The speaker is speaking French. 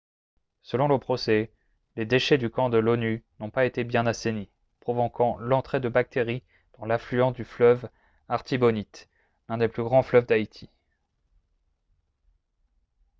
selon le procès les déchets du camp de l'onu n'ont pas été bien assainis provoquant l'entrée de bactéries dans l'affluent du fleuve artibonite l'un des plus grands fleuves d'haïti